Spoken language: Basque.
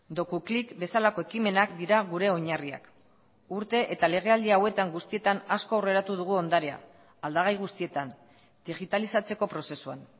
dokuklik bezalako ekimenak dira gure oinarriak urte eta legealdi hauetan guztietan asko aurreratu dugu ondarea aldagai guztietan digitalizatzeko prozesuan